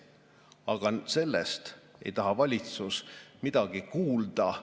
Aga sellest ei taha valitsus midagi kuulda.